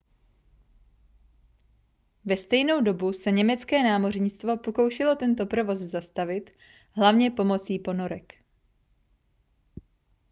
ve stejnou dobu se německé námořnictvo pokoušelo tento provoz zastavit hlavně pomocí ponorek